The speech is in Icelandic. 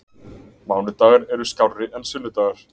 Mánudagar eru skárri en sunnudagar.